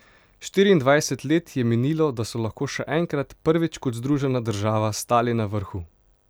Štiriindvajset let je minilo, da so lahko še enkrat, prvič kot združena država, stali na vrhu.